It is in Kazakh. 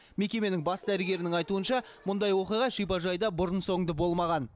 мекеменің бас дәрігерінің айтуынша мұндай оқиға шипажайда бұрын соңды болмаған